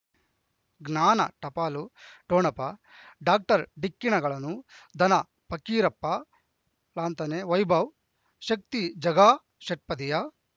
ಜ್ಞಾನ ಟಪಾಲು ಠೊಣಪ ಡಾಕ್ಟರ್ ಢಿಕ್ಕಿ ಣಗಳನು ಧನ ಪಕೀರಪ್ಪ ಳಂತಾನೆ ವೈಭವ್ ಶಕ್ತಿ ಝಗಾ ಷಟ್ಪದಿಯ